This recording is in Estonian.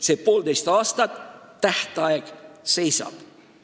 Selle poolteise aasta jooksul tähtaeg seisab.